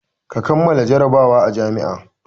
Ka kammala jarabawa a jami'a!